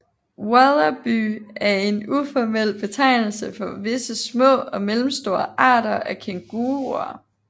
Wallaby er en uformel betegnelse for visse små og mellemstore arter af kænguruer